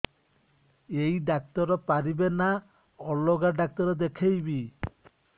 ଏଇ ଡ଼ାକ୍ତର ପାରିବେ ନା ଅଲଗା ଡ଼ାକ୍ତର ଦେଖେଇବି